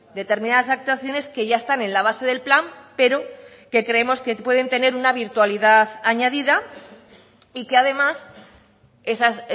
determinadas actuaciones que ya están en la base del plan pero que creemos que pueden tener una virtualidad añadida y que además esas